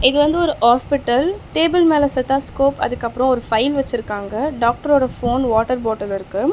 இது வந்து ஒரு ஹாஸ்பிடல் டேபிள் மேல ஸ்டெதாஸ்கோப் அதுக்கப்புறம் ஒரு ஃபைல் வெச்சிருக்காங்க. டாக்டரோட போன் வாட்டர் பாட்டில் இருக்கு.